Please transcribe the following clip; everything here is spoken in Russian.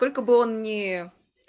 сколько бы он ни